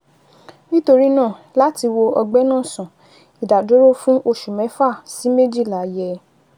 Nítorí náà, láti wo ọgbẹ́ náà sàn, ìdádúró fún oṣù mẹ́fà sí méjìlá yẹ